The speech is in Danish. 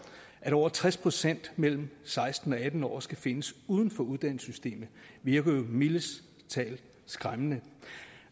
over tres procent mellem seksten og atten år skal findes uden for uddannelsessystemet virker jo mildest talt skræmmende